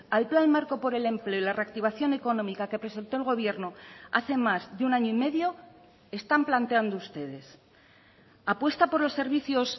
al plan marco por el empleo y la reactivación económica que presentó el gobierno hace más de un año y medio están planteando ustedes apuesta por los servicios